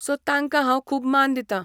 So तांकां हांव खूब मान दितां.